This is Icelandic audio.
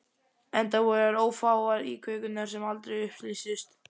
Enda voru þær ófáar, íkveikjurnar sem aldrei upplýstust.